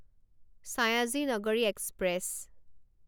Sayaji Nagari express